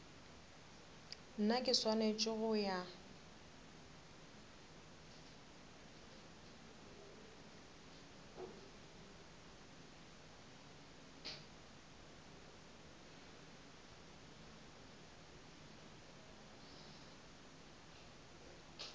nna ke swanetse go ya